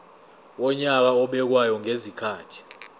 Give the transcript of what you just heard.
wonyaka obekwayo ngezikhathi